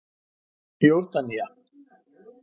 Jórdanía